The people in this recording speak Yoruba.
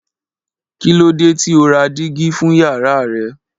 Kí ló dé tí o ò ra dígí fún yàrá rẹ?